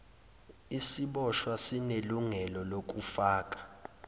isiboshwa sinelungelo lokufaka